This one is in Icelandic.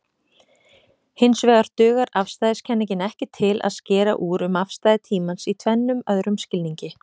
Hinsvegar dugar afstæðiskenningin ekki til að skera úr um afstæði tímans í tvennum öðrum skilningi.